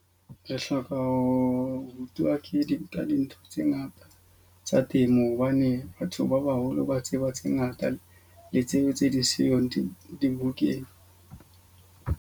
Re hloka ho rutwa ke dintlha dintho tse ngata tsa temo. Hobane batho ba baholo ba tseba tse ngata le tsebe tse ding siyong dibukeng.